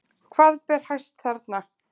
Hvað ber hæst þarna?